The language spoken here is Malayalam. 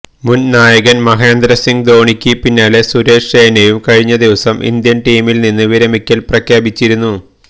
മുന് നായകന് മഹേന്ദ്ര സിംഗ് ധോണിക്ക് പിന്നാലെ സുരേഷ് റെയ്നയും കഴിഞ്ഞ ദിവസം ഇന്ത്യന് ടീമില് നിന്ന് വിരമിക്കല് പ്രഖ്യാപിച്ചിരുന്നു